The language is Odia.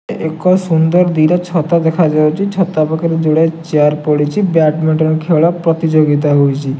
ଏକ ସୁନ୍ଦର୍ ଦିଟା ଛତା ଦେଖାଯାଉଚି। ଛତା ପାଖରେ ଯୋଡ଼ାଏ ଚେୟାର୍ ପଡ଼ିଚି। ବ୍ୟାଡମିଣ୍ଟନ ଖେଳ ପ୍ରତିଯୋଗିତା ହଉଚି।